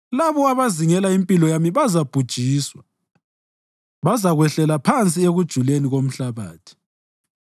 Labo abazingela impilo yami bazabhujiswa; bazakwehlela phansi ekujuleni komhlabathi.